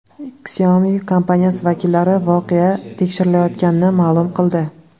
Xiaomi kompaniyasi vakillari voqea tekshirilayotganini ma’lum qildi.